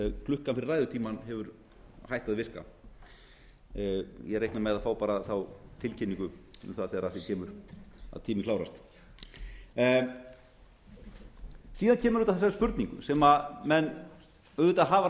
klukkan fyrir ræðutímann hefur hætt að virka ég reikna með að fá bara þá tilkynningu um það þegar að því kemur að tíminn klárast síðan kemur þetta að þeim spurningum sem menn auðvitað hafa